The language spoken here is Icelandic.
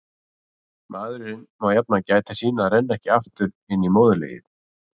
Maðurinn má jafnan gæta sín að renna ekki aftur inn í móðurlegið.